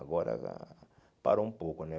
Agora parou um pouco, né?